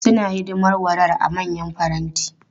Suna hidimar warar a manyan faranti.